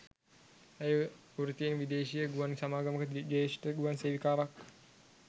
ඇය වෘත්තියෙන් විදේශීය ගුවන් සමාගමක ‍ජ්‍යෙෂ්ඨ ගුවන් සේවිකාවක්